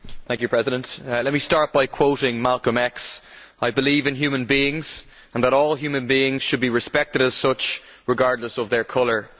Mr President, let me start by quoting Malcolm X I believe in human beings, and that all human beings should be respected as such, regardless of their colour'.